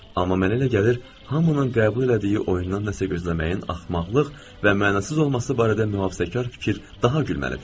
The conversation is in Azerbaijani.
Amma mənə elə gəlir, hamının qəbul elədiyi oyundan nəsə gözləməyin axmaqlıq və mənasız olması barədə mühafizəkar fikir daha gülməlidir.